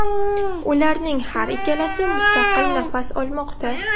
Ularning har ikkalasi mustaqil nafas olmoqda.